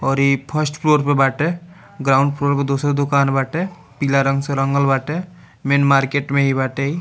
और इ first floor पे बाटे ग्राउंड फ्लोर में दूसरा दुकान बाटे पीला रंग से रंगल बाटे मेन मार्केट में इ बाटे इ।